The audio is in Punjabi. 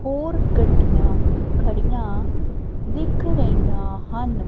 ਹੋਰ ਗੱਡੀਆਂ ਖੜੀਆਂ ਦਿਖ ਰਹੀਆਂ ਹਨ।